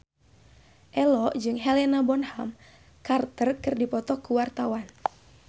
Ello jeung Helena Bonham Carter keur dipoto ku wartawan